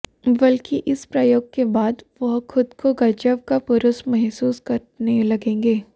बल्कि इस प्रयोग के बाद वह खुद को गजब का पुरुष महसूस करने लगेंगे